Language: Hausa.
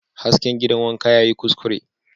Hasken gidan wanka yayi kuskure